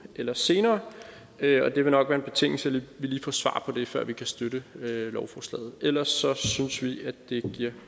eller senere det vil nok være en betingelse at vi lige får svar på det før vi kan støtte lovforslaget ellers synes vi at det giver